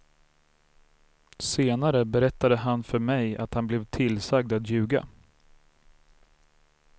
Senare berättade han för mig att han blev tillsagd att ljuga.